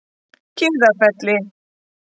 Kiðafelli